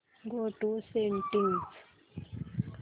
go to settings